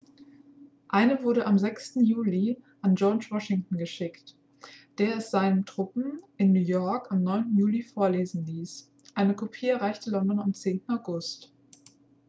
eine wurde am 6. juli an george washington geschickt der es seinen truppen in new york am 9. juli vorlesen ließ eine kopie erreichte london am 10. august